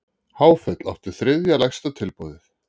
Háfell átti þriðja lægsta tilboðið